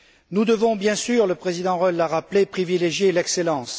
Nous devons bien sûr le président Reul l'a rappelé privilégier l'excellence.